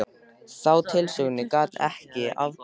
Þá tilhugsun gat ég ekki afborið.